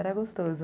Era gostoso.